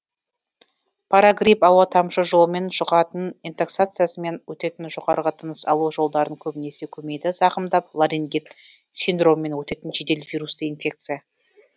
парагрипп ауа тамшы жолымен жұғатын интоксикациямен өтетін жоғарғы тыныс алу жолдарын көбінесе көмейді зақымдап ларингит синдромымен өтетін жедел вирусты инфекция